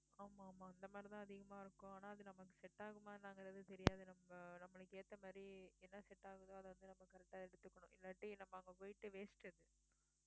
ஆமா ஆமா அந்த மாதிரிதான் அதிகமா இருக்கும் ஆனா அது நமக்கு set ஆகுமா என்னாங்கறது தெரியாது நம்ம நம்மளுக்கு ஏத்த மாதிரி என்ன set ஆகுதோ அதை வந்து நம்ம correct ஆ எடுத்துக்கணும் இல்லாட்டி நம்ம அங்க போயிட்டு waste